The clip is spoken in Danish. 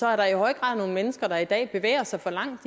er der i høj grad nogle mennesker der i dag bevæger sig for langt